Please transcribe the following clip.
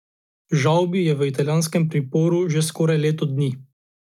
Žavbi je v italijanskem priporu že skoraj leto dni.